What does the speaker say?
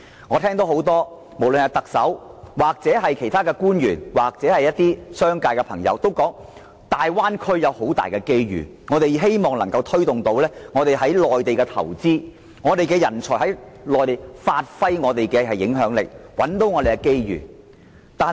我聽到特首、官員和一些商界朋友都說大灣區將會提供很多機遇，因此希望推動港人在內地進行投資和發揮影響力，尋找機遇。